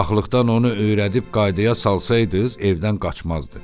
Uşaqlıqdan onu öyrədib qaydaya salsaydınız, evdən qaçmazdı.